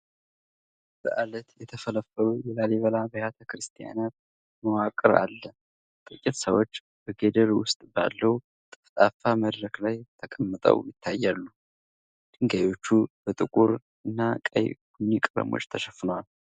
በዓለት የተፈለፈሉ የላሊበላ አብያተ ክርስቲያናት መዋቅር አለ። ጥቂት ሰዎች በገደል ውስጥ ባለው ጠፍጣፋ መድረክ ላይ ተቀምጠው ይታያሉ። ድንጋዮቹ በጥቁርና ቀይ ቡኒ ቀለም ተሸፍነዋል።